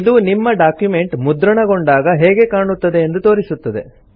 ಇದು ನಿಮ್ಮ ಡಾಕ್ಯುಮೆಂಟ್ ಮುದ್ರಣಗೊಂಡಾಗ ಹೇಗೆ ಕಾಣುತ್ತದೆ ಎಂದು ತೋರಿಸುತ್ತದೆ